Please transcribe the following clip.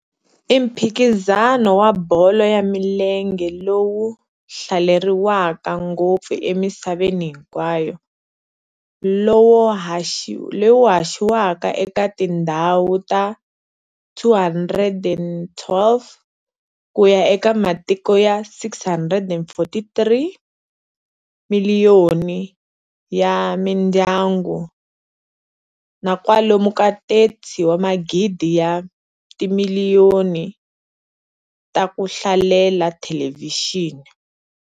I mphikizano wa bolo ya milenge lowu hlaleriwaka ngopfu emisaveni hinkwayo, lowu haxiwaka eka tindhawu ta 212 ku ya eka matiko ya 643. miliyoni ya mindyangu na kwalomu ka 30 magidi ya timiliyoni ta ku hlalela thelevhixini.